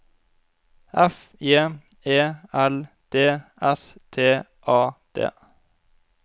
F J E L D S T A D